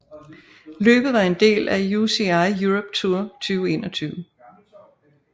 Løbet var en del af UCI Europe Tour 2021